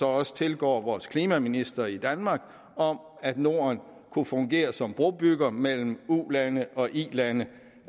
også tilgår vores klimaminister i danmark om at norden kunne fungere som brobygger mellem ulande og ilande